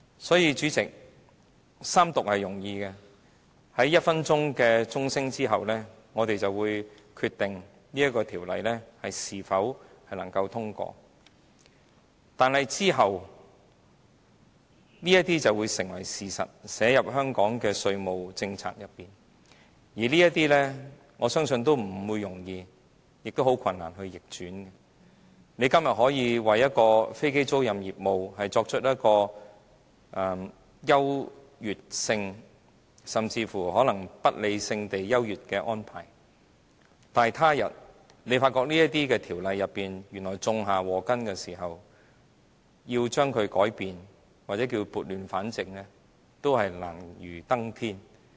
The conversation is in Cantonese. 所以，主席，《條例草案》三讀通過是容易的，在1分鐘鐘聲後，我們便會決定這項《條例草案》是否獲得通過，但往後這項《條例草案》便會成為事實，納入香港的稅務政策中，而這些措施，我相信不容易，亦應是難以逆轉，今天政府可以向飛機租賃業務給予優越性，甚至可能是不理性地優越的安排，但他日政府發覺這些條例原來種下禍根時，要改變這些條例，或是所謂撥亂反正，都是難如登天。